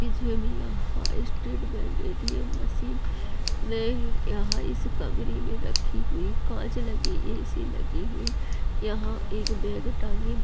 भी अहा state bank ATM machine यहां इस कमरे में रखी हुई कांच लगी ऐसी लगी हुई यहां एक बैग टांगी--